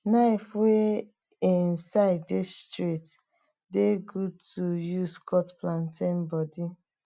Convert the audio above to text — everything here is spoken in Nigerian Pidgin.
knife wey em side dey straight dey good to to use cut plantain body